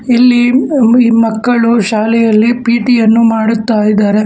ಇಲ್ಲಿ ಮಕ್ಕಳು ಶಾಲೆಯಲ್ಲಿ ಪಿ_ಟಿ ಯನ್ನು ಮಾಡುತ್ತಾ ಇದಾರೆ.